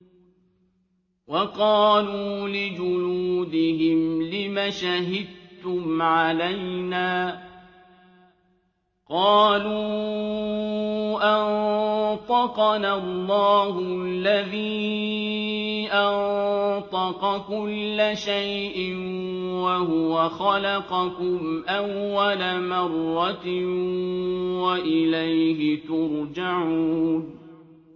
وَقَالُوا لِجُلُودِهِمْ لِمَ شَهِدتُّمْ عَلَيْنَا ۖ قَالُوا أَنطَقَنَا اللَّهُ الَّذِي أَنطَقَ كُلَّ شَيْءٍ وَهُوَ خَلَقَكُمْ أَوَّلَ مَرَّةٍ وَإِلَيْهِ تُرْجَعُونَ